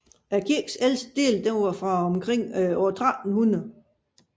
Kirkens ældste dele er fra omkring år 1300